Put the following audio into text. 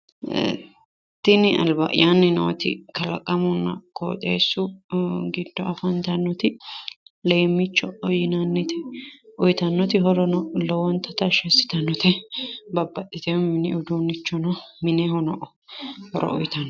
Tini alba’yaanni nooti kalaqamunna qooxeessu giddo afantannoti leemmicho yinannite. Uuyitannoti horono lowonta tashshi assitannote babbaxitewo mini uduunnichono minehono horo uuyitannote.